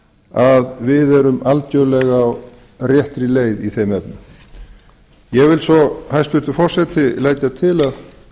að við erum algerlega á réttri leið í þeim efnum ég vil svo hæstvirtur forseti leggja til að